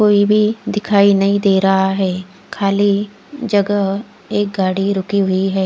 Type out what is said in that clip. कोई भी नही दिखाई दे रहा है खली एक जगह गाड़ी रुकी हुई है।